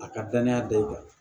A ka danaya da i kan